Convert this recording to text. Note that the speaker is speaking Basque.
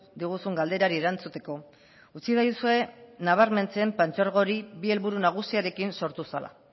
diguzun galderari erantzuteko utzidazue nabarmentzen partzuergo hori bi helburu nagusirekin sortu zela